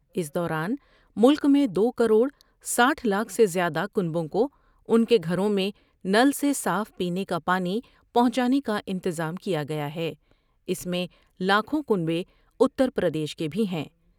اس دوران ملک میں دو کروڑ ساٹھ لاکھ سے زیادہ کنبوں کو ان کے گھروں میں نل سے صاف پینے کا پانی پہونچانے کا انتظام کیا گیا ہے ، اس میں لاکھوں کنبے اتر پردیش کے بھی ہیں